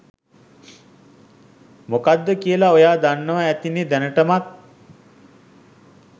මොකක්ද කියල ඔයා දන්නව ඇතිනෙ දැනටමත්.